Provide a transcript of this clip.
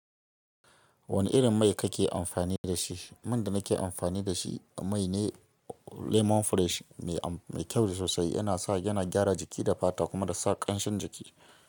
Wanne irin mai kake amfani da shi? Man da nake amfani da shi mai ne. Lemon fresh mai kyau sosai. Yana sa yana gyara jiki da fata kuma da sa ƙanshin jiki.